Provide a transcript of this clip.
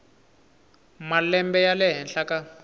malembe ya le henhla ka